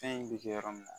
Fɛn in bɛ kɛ yɔrɔ min na